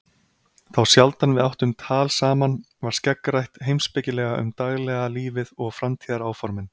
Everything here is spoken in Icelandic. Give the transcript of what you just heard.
Þá sjaldan við áttum tal saman var skeggrætt heimspekilega um daglega lífið og framtíðaráformin.